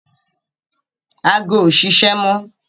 Ago ò ṣiṣẹ́ mọ